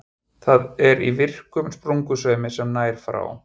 Það er í virkum sprungusveimi sem nær frá